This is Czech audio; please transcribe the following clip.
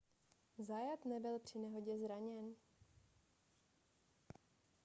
zayat nebyl při nehodě zraněn